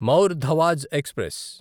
మౌర్ ధవాజ్ ఎక్స్ప్రెస్